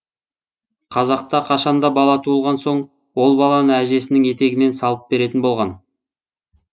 қазақта қашанда бала туылған соң ол баланы әжесінің етегіне салып беретін болған